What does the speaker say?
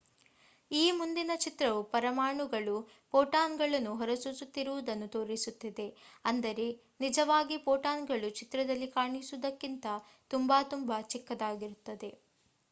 ಈ ಮುಂದಿನ ಚಿತ್ರವು ಪರಮಾಣುಗಳು ಪೋಟಾನ್ ಗಳನ್ನು ಹೊರಸೂಸುತ್ತಿರುವುದನ್ನು ತೋರಿಸುತ್ತಿದೆ ಅಂದರೆ ನಿಜಾವಾಗಿ ಪೋಟಾನ್ಗಳು ಚಿತ್ರದಲ್ಲಿ ಕಾಣಿಸುವುದಕ್ಕಿಂತ ತುಂಬಾ ತುಂಬಾ ಚಿಕ್ಕದಾಗಿರುತ್ತವೆ